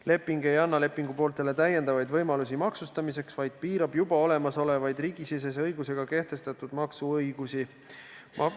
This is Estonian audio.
Leping ei anna pooltele maksustamiseks lisavõimalusi, vaid piirab juba olemasolevaid riigisisese õigusega kehtestatud maksuõigusi.